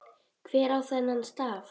Hver á þennan staf?